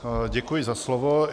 Děkuji za slovo.